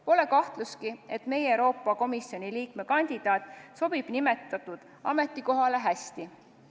Pole kahtlustki, et meie Euroopa Komisjoni liikme kandidaat sobib sellele ametikohale hästi.